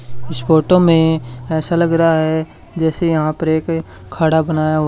इस फोटो मे ऐसा लग रहा जैसे यहां पर एक खड़ा बनाया--